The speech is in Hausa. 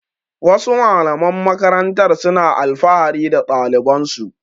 Wasu malaman makarantar suna alfahari da ɗalibansu.